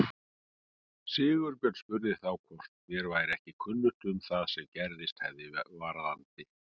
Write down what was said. Sigurbjörn spurði þá hvort mér væri ekki kunnugt um það sem gerst hefði varðandi